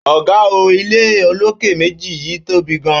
Óga óò, ile olókè méjì yíì tóbi gan